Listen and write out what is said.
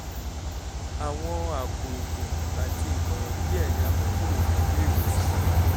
àwọn àpò oògùn àti ìmọ̀ràn díẹ̀ ni a mú kúrò ní ilé-ìwòsàn